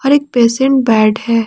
एक patient bed है।